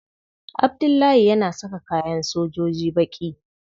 Abdullahi yana saka kayan sojoji baƙi.